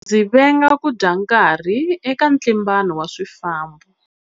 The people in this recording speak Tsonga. Ndzi venga ku dya nkarhi eka ntlimbano wa swifambo.